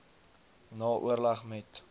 na oorleg met